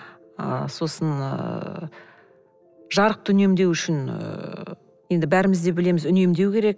ы сосын ы жарықты үнемдеу үшін ыыы енді бәріміз де білеміз үнемдеу керек